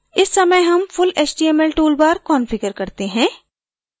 इस समय html full html toolbar configure करते हैं